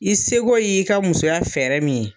I seko y'i ka musoya fɛrɛ min ye